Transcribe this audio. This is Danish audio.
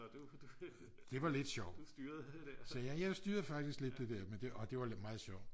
det var lidt sjovt så jeg jeg styrede faktisk lidt det der og det var lidt meget sjovt